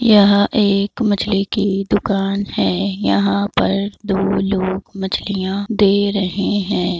यहाँ एक मछली की दुकान है यहाँ पर दो लोग मछलियां दे रहे हैं।